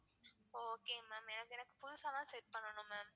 okay ma'am எனக்கு எனக்கு புதுசாதான் set பண்ணனும் ma'am.